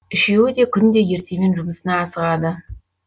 үшеуі де күнде ертемен жұмысына асығады